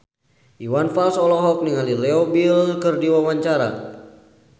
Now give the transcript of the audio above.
Iwan Fals olohok ningali Leo Bill keur diwawancara